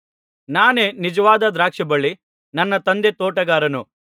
ನಾನೇ ನಿಜವಾದ ದ್ರಾಕ್ಷಿಬಳ್ಳಿ ನನ್ನ ತಂದೆ ತೋಟಗಾರನು